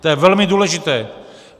To je velmi důležité.